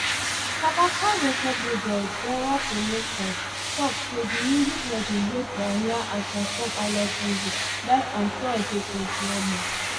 kabaka record label derda promotions tok say di music legend wey pioneer and transform highlife music die on thursday twenty-one march